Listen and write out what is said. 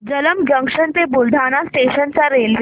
Jalamb junction ते Buldhana station च्या railway